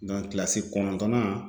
kilasi kɔnɔntɔnnan